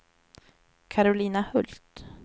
Karolina Hult